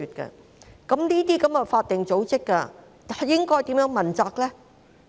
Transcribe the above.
就此，這些法定組織又該如何問責呢？